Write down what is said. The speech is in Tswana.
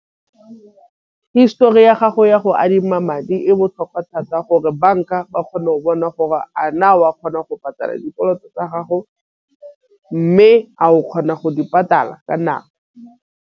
Histori ya gago ya go adima madi e botlhokwa thata gore banka ba kgone go bona gore a na wa kgona go patala dikoloto tsa gago. Mme a o kgona go di patala ka nako.